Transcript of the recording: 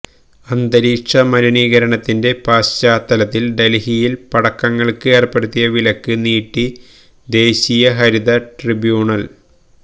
അന്തരീക്ഷ മലിനീകരണത്തിന്റെ പശ്ചാത്തലത്തിൽ ഡൽഹിയിൽ പടക്കങ്ങൾക്ക് ഏർപ്പെടുത്തിയ വിലക്ക് നീട്ടി ദേശീയ ഹരിത ട്രിബ്യൂണൽ